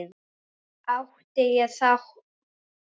Átti ég þátt í því?